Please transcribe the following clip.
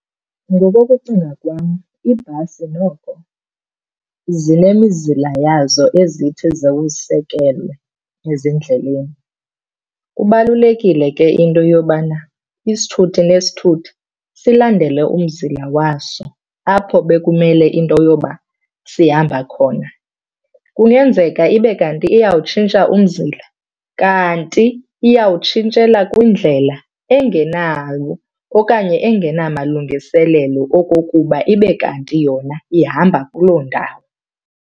Ngokokucinga kwam iibhasi noko zinemizila yazo ezithi ziwusekelwe ezindleleni. Kubalulekile ke into yobana isithuthi nesithuthi silandele umzila waso apho bekumele into yoba sihamba khona. Kungenzeka ibe kanti iyawutshintsha umzila kanti iyawutshintshela kwindlela engenawo okanye engenamalungiselelo okokuba ibe kanti yona ihamba kuloo ndawo.